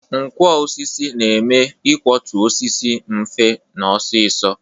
Nkwọ osisi na-eme ikwọtụ osisi mfe na ọsịsọ